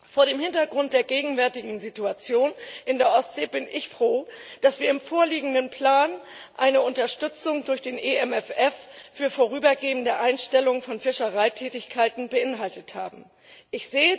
Vor dem Hintergrund der gegenwärtigen Situation in der Ostsee bin ich froh, dass wir in dem vorliegenden Plan eine Unterstützung für eine vorübergehende Einstellung von Fischereitätigkeiten durch den EMFF aufgenommen haben.